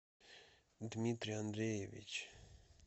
дмитрий андреевич